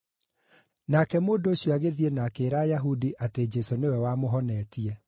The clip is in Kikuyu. Nake mũndũ ũcio agĩthiĩ na akĩĩra Ayahudi atĩ Jesũ nĩwe wamũhonetie.